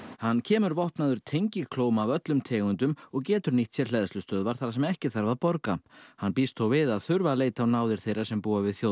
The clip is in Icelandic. hann kemur vopnaður tengiklóm af öllum tegundum og getur nýtt sér hleðslustöðvar þar sem ekki þarf að borga hann býst þó við að þurfa að leita á náðir þeirra sem búa við